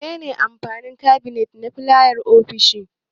Me ne ne amfanin kabinet na fayal a ofishi?